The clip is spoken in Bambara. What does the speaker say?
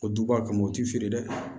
O duba kama u ti feere dɛ